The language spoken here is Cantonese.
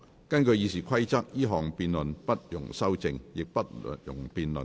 根據《議事規則》，這項議案不容修正，亦不容辯論。